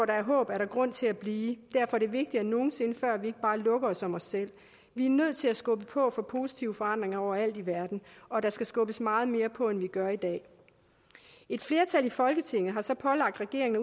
der er håb er der grund til at blive derfor er det vigtigere end nogen sinde før at vi ikke bare lukker os om os selv vi er nødt til at skubbe på for positive forandringer overalt i verden og der skal skubbes meget mere på end vi gør i dag et flertal i folketinget havde så pålagt regeringen